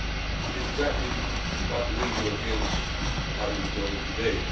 It is exactly what we Europeans are enjoying today.